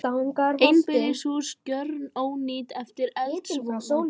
Einbýlishús gjörónýtt eftir eldsvoða